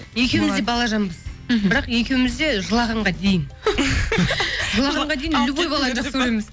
екеуіміз де балажанбыз мхм бірақ екеуіміз де жылағанға дейін жылағанға дейін любой баланы жақсы көреміз